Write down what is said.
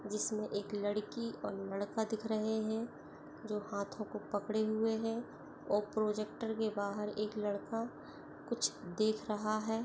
जिसमे एक लड़की और लड़का दिख रहे हैं जो हाथों को पकड़े हुए है और प्रजेक्टर के बाहर लड़का कुछ देख रहा है।